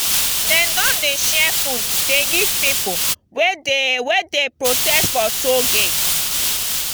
den don dey share food dey give pipu wey dey wey dey protest for toll gate.